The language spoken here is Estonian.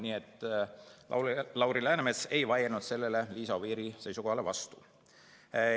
Nii et Lauri Läänemets ei vaielnud sellele Liisa Oviiri seisukohale vastu.